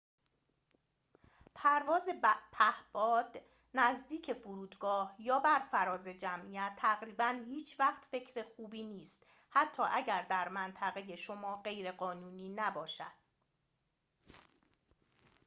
پرواز پهباد نزدیک فرودگاه یا بر فراز جمعیت تقریباً هیچ‌وقت فکر خوبی نیست حتی اگر در منطقه شما غیرقانونی نباشد